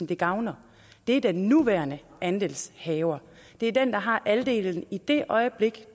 det gavner det er den nuværende andelshaver det er den der har andelen i det øjeblik